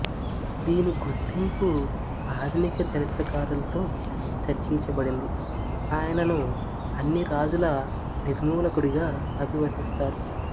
దీని గుర్తింపు ఆధునిక చరిత్రకారులతో చర్చించబడింది ఆయనను అన్ని రాజుల నిర్మూలకుడి గా అభివర్ణిస్తారు